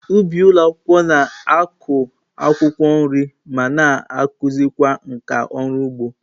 Ụbị ụlọ akwụkwọ na-akụ akwụkwọ nri ma na-akụzikwa nkà ọrụ ugbo.